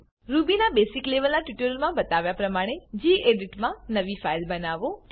Rubyના basic લેવલના ટ્યુટોરીયલોમા બતાવ્યા પ્રમાણે ગેડિટ મા નવી ફાઈલ બનાઓ